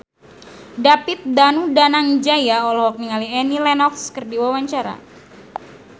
David Danu Danangjaya olohok ningali Annie Lenox keur diwawancara